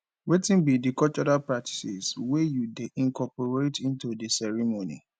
wetin be di cultural practices wey you dey incorporate into di ceremony